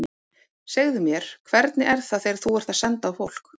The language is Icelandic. Segðu mér, hvernig er það þegar þú ert að senda á fólk.